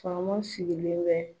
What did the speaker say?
Faama sigilen bɛ